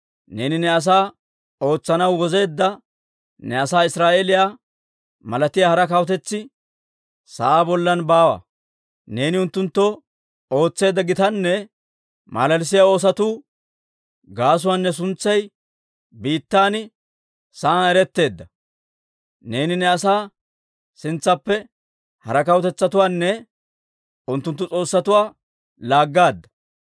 Neeni ne asaa ootsanaw wozeedda ne asaa Israa'eeliyaa malatiyaa hara kawutetsi sa'aa bollan baawa. Neeni unttunttoo ootseedda gitanne malalissiyaa oosotu gaasuwaan ne suntsay biittan sa'aan eretteedda. Neeni ne asaa sintsaappe hara kawutetsatuwaanne unttunttu s'oossatuwaa laaggaadda.